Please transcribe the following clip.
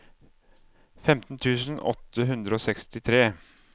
femten tusen åtte hundre og sekstitre